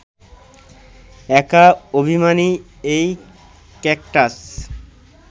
একা অভিমানী এই ক্যাকটাস